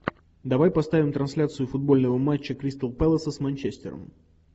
давай поставим трансляцию футбольного матча кристал пэласа с манчестером